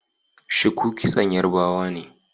Shuku kitson yarbawa ne